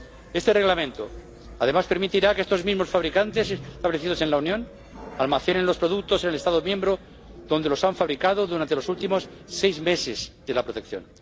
Este Reglamento, además, permitirá que estos mismos fabricantes establecidos en la Unión almacenen los productos en el Estado miembro donde los han fabricado durante los últimos seis meses de la protección.